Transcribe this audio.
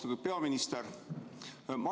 Austatud peaminister!